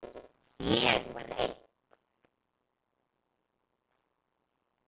Ég var einn.